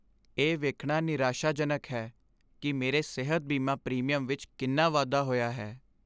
ਇਹ ਵੇਖਣਾ ਨਿਰਾਸ਼ਾਜਨਕ ਹੈ ਕਿ ਮੇਰੇ ਸਿਹਤ ਬੀਮਾ ਪ੍ਰੀਮੀਅਮ ਵਿੱਚ ਕਿੰਨਾ ਵਾਧਾ ਹੋਇਆ ਹੈ।